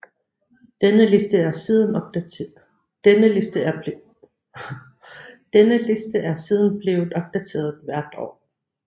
Denne liste er siden blevet opdateret hvert år